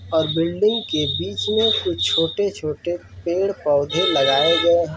और बिल्डिंग के बीच में कुछ छोटे-छोटे पेड़ पौधे लगाये गए हैं।